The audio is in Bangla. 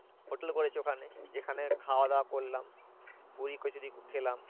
হোটেল করেছে ওখানে যেখানে খাওয়াদাওয়া করলাম। পুরি কচুরি খেলাম।